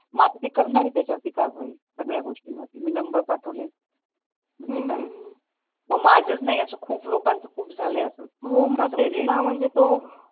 मग आता तिकडन होते त्याच्यावर कारवाही मी नंबर पाठवलाय माझंच नाही असं खूप लोकांचं असं झालाय